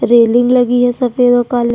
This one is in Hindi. रेलिंग लगी हुई है सफेद और काले--